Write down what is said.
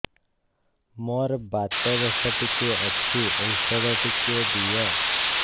ମୋର୍ ବାତ ଦୋଷ ଟିକେ ଅଛି ଔଷଧ ଟିକେ ଦିଅ